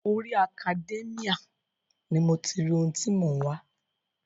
Orí Academia ni mo ti ri ohun ti mò ń wá.